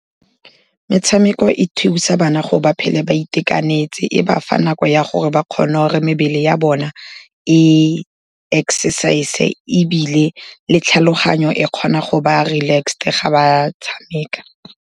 Metshameko e thusa bana go ba phele ba itekanetse, e ba fa nako ya gore ba kgone gore mebele ya bona e exercise-e, ebile le tlhaloganyo e kgona go ba relaxed ga ba tshameka.